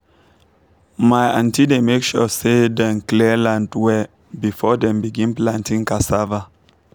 my aunty dey make sure say dem clear land well before dem begin planting cassava